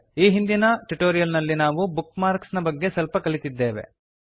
ಈ ಹಿಂದಿನ ಟ್ಯುಟೋರಿಯಲ್ ನಲ್ಲಿ ನಾವು ಬುಕ್ ಮಾರ್ಕ್ಸ್ ನ ಬಗ್ಗೆ ಸ್ವಲ್ಪ ಕಲಿತಿದ್ದೇವೆ